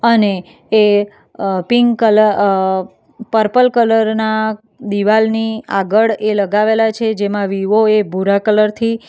અને એ અહ પિંક કલર અહ પર્પલ કલર ના દિવાલની આગળ એ લગાવેલા છે જેમાં વીવો એ ભૂરા કલરથી --